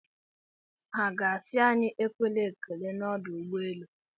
Ha ga-asị anyị ekwela ekele n'ọdụ ụgbọelu?